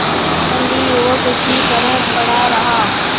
बंदी युवक उसी तरह पड़ा रहा